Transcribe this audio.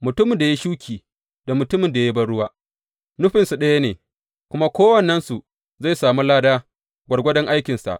Mutumin da ya yi shuki, da mutumin da ya yi banruwa nufinsu ɗaya ne, kuma kowannensu zai sami lada gwargwadon aikinsa.